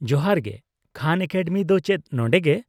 -ᱡᱚᱦᱟᱨ ᱜᱮ, ᱠᱷᱟᱱ ᱮᱠᱟᱰᱮᱢᱤ ᱫᱚ ᱪᱮᱫ ᱱᱚᱰᱮᱜᱮ ?